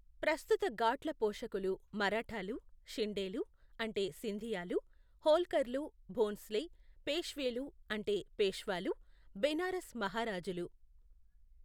ప్రస్తుత ఘాట్ల పోషకులు మరాఠాలు, షిండేలు అంటే సింధియాలు, హోల్కర్లు, భోంస్లే, పేష్వేలు అంటే పేష్వాలు, బెనారస్ మహారాజులు.